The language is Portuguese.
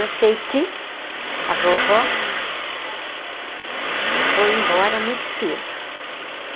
Eu sei que a vovó foi embora muito cedo.